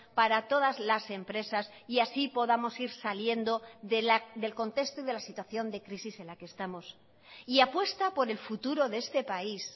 para todas las empresas y así podamos ir saliendo del contexto y de la situación de crisis en la que estamos y apuesta por el futuro de este país